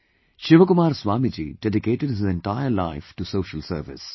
ShivaKumar Swamiji dedicated his entire life to Social Service